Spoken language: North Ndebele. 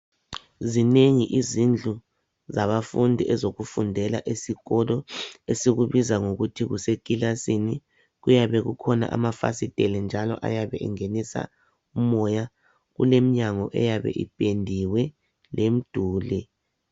Zinengi izindlu zabafundi ezokufundela esikolo esikubiza ngokuthi kusekilasini kuyabe kukhona amafasiteli njalo ayabe engenisa umoya kuleminyango eyabe ipendiwe lemiduli.